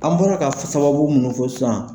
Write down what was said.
An bɔra ka sababu minnu fɔ sisan